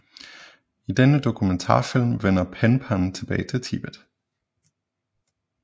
I denne dokumentarfilm vender Penpa tilbage til Tibet